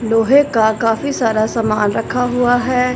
लोहे का काफी सारा सामान रखा हुआ है।